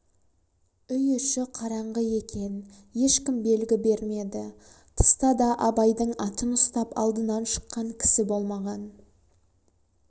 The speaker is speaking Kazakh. үй іші қараңғы екен ешкім белгі бермеді тыста да абайдың атын ұстап алдынан шыққан кісі болмаған